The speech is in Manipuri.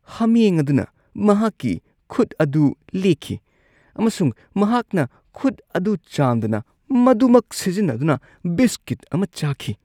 ꯍꯥꯃꯦꯡ ꯑꯗꯨꯅ ꯃꯍꯥꯛꯀꯤ ꯈꯨꯠ ꯑꯗꯨ ꯂꯦꯛꯈꯤ, ꯑꯃꯁꯨꯡ ꯃꯍꯥꯛꯅ ꯈꯨꯠ ꯑꯗꯨ ꯆꯥꯝꯗꯅ ꯃꯗꯨꯃꯛ ꯁꯤꯖꯤꯟꯅꯗꯨꯅ ꯕꯤꯁꯀꯤꯠ ꯑꯃ ꯆꯥꯈꯤ꯫